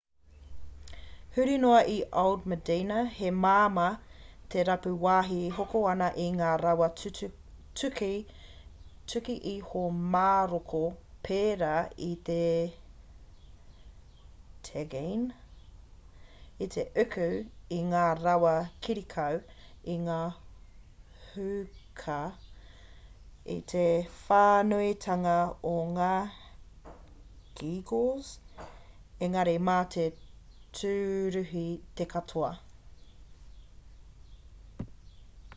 huri noa i old medina he māmā te rapu wāhi e hoko ana i ngā rawa tuku iho māroko pērā i te tagine i te uku i ngā rawa kirikau i ngā hookah i te whānuitanga o ngā geegaws engari mā te tūruhi te katoa